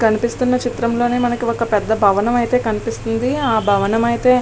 కనిపిస్తున్న చిత్రంలో మనకు ఒక పెద్ద భవనం అయితే కనిపిస్తుంది ఆ భవనమైతే --